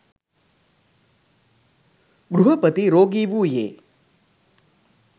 ගෘහපති රෝගී වූයේ,